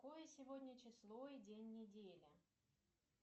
какое сегодня число и день недели